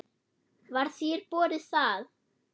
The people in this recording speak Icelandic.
Var þér boðið það?